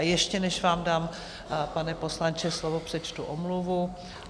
A ještě než vám dám, pane poslanče, slovo, přečtu omluvu.